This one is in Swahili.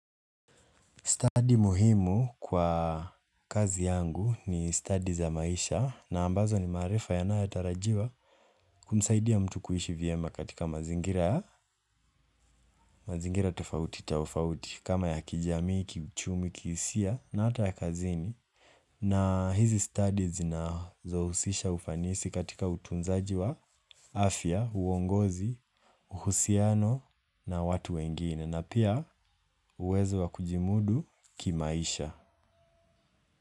Study muhimu kwa kazi yangu ni study za maisha na ambazo ni maarifa yanayotarajiwa kumsaidia mtu kuishi vyema katika mazingira ya, mazingira tofauti tofauti kama ya kijamii, kiuchumi, kihisia na ata ya kazini na hizi studies zinazohusisha ufanisi katika utunzaji wa afya, uongozi, uhusiano na watu wengine na pia uwezo wa kujimudu ki maisha.